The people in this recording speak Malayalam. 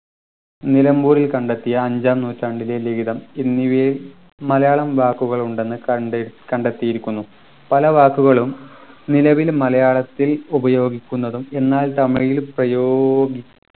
നിലമ്പൂരിൽ കണ്ടെത്തിയ അഞ്ചാം നൂറ്റാണ്ടിലെ ലിഖിതം എന്നിവയിൽ മലയാളം വാക്കുകൾ ഉണ്ടെന്ന് കണ്ടെ കണ്ടെത്തിയിരിക്കുന്നു പല വാക്കുകളും നിലവിൽ മലയാളത്തിൽ ഉപയോഗിക്കുന്നതും എന്നാൽ തമിഴിൽ പ്രയോഗി